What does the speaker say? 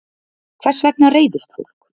Hvers vegna reiðist fólk?